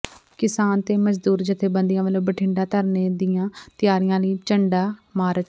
ਕਿਸਾਨ ਤੇ ਮਜ਼ਦੂਰ ਜਥੇਬੰਦੀਆਂ ਵੱਲੋਂ ਬਠਿੰਡਾ ਧਰਨੇ ਦੀਆਂ ਤਿਆਰੀਆਂ ਲਈ ਝੰਡਾ ਮਾਰਚ